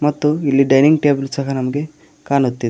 ಮತ್ತು ಇಲ್ಲಿ dining table ಸಹ ನಮ್ಗೆ ಕಾಣುತ್ತಿದೆ.